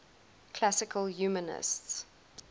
classical humanists